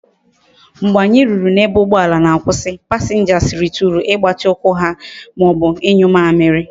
Mgbe anyi ruru na ebe ugboala na akwusi, passengers rituru igbati ukwu ha maobu inyu amiri